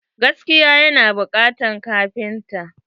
Gaskiya yana bukatan kafinta.